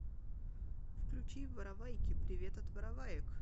включи воровайки привет от вороваек